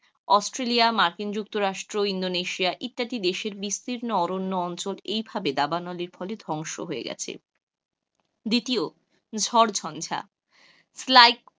Australia, মার্কিন যুক্তরাষ্ট্র, Indonesia, ইত্যাদি দেশের বিস্তীর্ণ অরণ্য অঞ্চল এইভাবে দাবানলের ফলে ধ্বংস হয়ে গেছে, দ্বিতীয়ত ঝড় ঝঞ্ঝা,